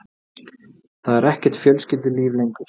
Það er ekkert fjölskyldulíf lengur.